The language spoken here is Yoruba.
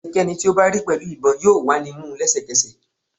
Ẹnikẹni ti o ba ri pẹlu ibon yoo wa ni mu lẹsẹkẹsẹ